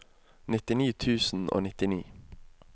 nittini tusen og nittini